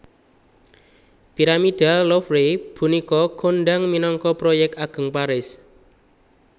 Piramida Louvre punika kondhang minangka Proyek Ageng Paris